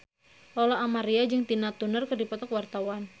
Lola Amaria jeung Tina Turner keur dipoto ku wartawan